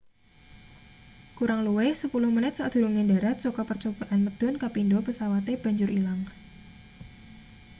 kurang luwih sepuluh menit sadurunge ndharat saka percobaan medhun kapindo pesawate banjur ilang